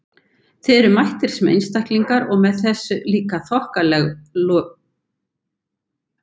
Þið eruð mættir sem einstaklingar- og með þessa líka þokkalegu lista!